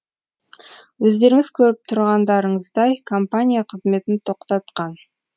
өздеріңіз көріп тұрғандарыңыздай компания қызметін тоқтатқан